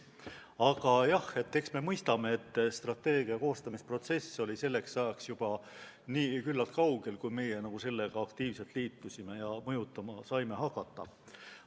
Aga jah, me mõistame, et strateegia koostamise protsess oli selleks ajaks juba küllalt kaugel, kui meie sellega aktiivselt liitusime ja seda mõjutama saime hakata.